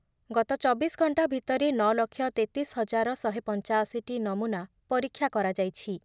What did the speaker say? ଗତ ଚବିଶ ଘଣ୍ଟା ଭିତରେ ନଅ ଲକ୍ଷ ତେତିଶ ହଜାର ଶହେ ପଞ୍ଚାଅଶିଟି ନମୁନା ପରୀକ୍ଷା କରାଯାଇଛି